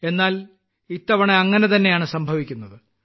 എന്നാൽ ഇത്തവണ അങ്ങനെ തന്നെയാണ് സംഭവിക്കുന്നത്